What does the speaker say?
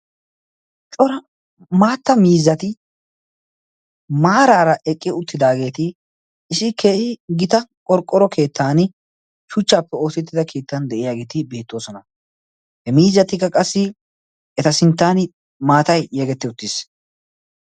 Cora maatta miizzati maaraara eqqi uttidaageeti isi keehi gita qorqqoro keettan shuchchaappe ootettida keettan de'iyaageeti beettoosona. he miizatikka qassi eta sinttan maatai yegetti uttiis.